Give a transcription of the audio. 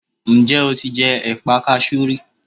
Ǹ jẹ́ o ti jẹ ẹ̀pa kasú rí